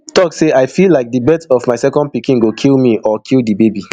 tok say i feel like di birth of my second pikin go kill me or kill di baby